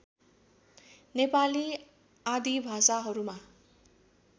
नेपाली आदि भाषाहरूमा